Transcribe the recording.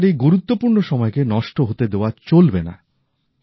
বর্ষার এই গুরুত্বপূর্ণ সময়কে নষ্ট হতে দেওয়া চলবে না